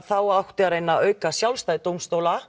þá átti að reyna að auka sjálfstæði dómstóla